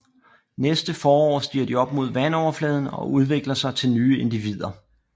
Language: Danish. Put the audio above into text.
Næste forår stiger de op mod vandoverfladen og udvikler sig til nye individer